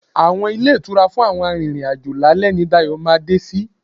Àwọn ilé ìtura fún àwọn arìnrìn-àjò lálẹ́ ni Dayọ̀ ma dé sí.